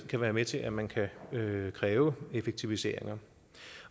kan være med til at man kan kræve kræve effektiviseringer